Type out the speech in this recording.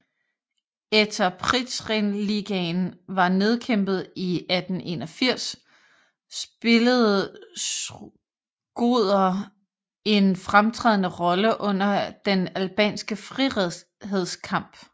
Etter Prizrenligaen var nedkæmpet i 1881 spillede Shkodër en fremtrædende rolle under den albanske frihedskamp